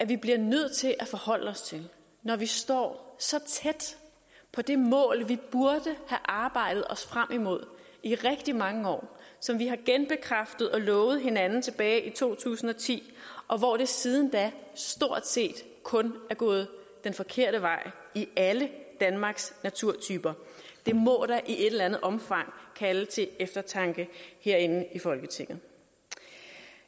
vi bliver nødt til at forholde os til når vi står så tæt på det mål vi burde have arbejdet os frem imod i rigtig mange år som vi har genbekræftet og lovet hinanden tilbage i to tusind og ti og hvor det siden da stort set kun er gået den forkerte vej i alle danmarks naturtyper det må da i et eller andet omfang kalde til eftertanke herinde i folketinget